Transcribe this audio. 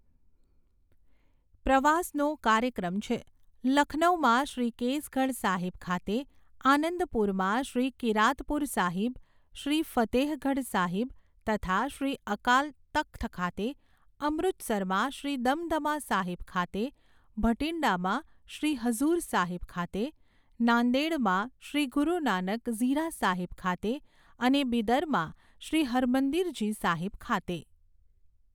પ્રવાસનો કાર્યક્રમ છે, લખનૌમાં શ્રી કેસગઢ સાહિબ ખાતે, આનંદપુરમાં શ્રી કિરાતપુર સાહિબ, શ્રી ફતેહગઢ સાહિબ તથા શ્રી અકાલ તખ્ત ખાતે, અમૃતસરમાં શ્રી દમદમા સાહિબ ખાતે, ભટિંડામાં શ્રી હઝુર સાહિબ ખાતે, નાદેડમાં શ્રી ગુરુ નાનક ઝીરા સાહિબ ખાતે, અને બિદરમાં શ્રી હરમંદિરજી સાહિબ ખાતે.